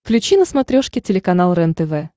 включи на смотрешке телеканал рентв